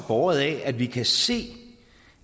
båret af at vi kan se